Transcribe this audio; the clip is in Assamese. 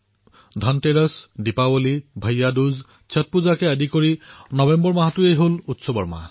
ধনতেৰছ দীপাৱলী ভায়াদুজ ষঠ এক প্ৰকাৰে কবলৈ গলে এই নৱেম্বৰ মাহটো উৎসৱৰ মাহ